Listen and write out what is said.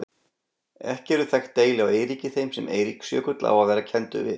Ekki eru þekkt deili á Eiríki þeim sem Eiríksjökull á að vera kenndur við.